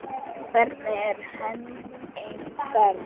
Hvernig er Henning Berg?